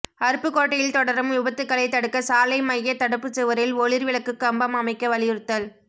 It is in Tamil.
அருப்புக்கோட்டையில் தொடரும் விபத்துக்களைத் தடுக்க சாலை மையத் தடுப்புச்சுவரில் ஒளிா் விளக்குக் கம்பம் அமைக்க வலியுறுத்தல்